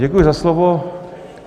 Děkuji za slovo.